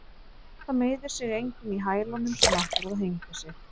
Það meiðir sig enginn í hælunum sem ætlar að hengja sig.